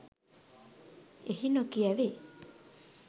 එහි නොකියැවේ.